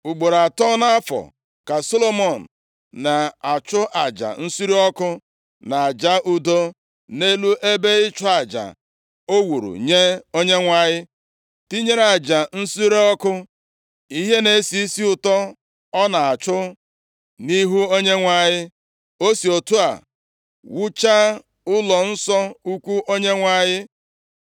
Ugboro atọ nʼafọ, + 9:25 Ọ bụ nʼusoro ụzọ mmemme atọ dị mkpa nke ndị Izrel na-eme kwa afọ. Ndị a bụ mmemme achịcha ekoghị eko, mmemme owuwe ihe ubi, na mmemme ibi ụlọ ikwu. \+xt Ọpụ 23:14-17; Dit 16:16; 2Ih 8:13\+xt* ka Solomọn na-achụ aja nsure ọkụ, na aja udo nʼelu ebe ịchụ aja o wuru nye Onyenwe anyị, tinyere aja nsure ọkụ ihe na-esi isi ụtọ ọ na-achụ nʼihu Onyenwe anyị. O si otu a wuchaa ụlọnsọ ukwu Onyenwe anyị.